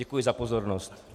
Děkuji za pozornost.